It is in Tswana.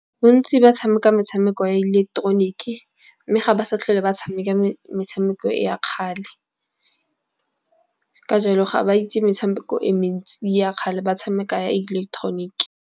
Bontsi ba tshameka metshameko ya ileketeroniki mme ga ba sa tlhole ba tshameka metshameko e ya kgale. Ka jalo, ga ba itse metshameko e mentsi ya kgale ba tshameka ya ileketeroniki.